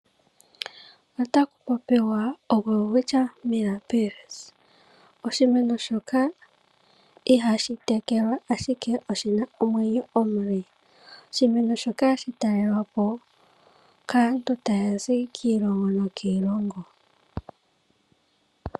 Otaku popiwa oWelwitchia Millabilis. Oshimeno shoka ihashi tekelwa ashike oshina omwenyo omule. Oshimeno shoka hashi talelwapo kaantu taya zi kiiilongo niilongo.